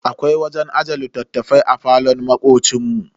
Akwai wajen ajiye littattafai a falon makocin mu.